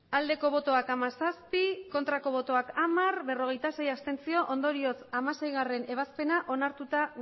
hamairu bai hamazazpi ez hamar abstentzioak berrogeita sei ondorioz hamaseigarrena ebazpena onartua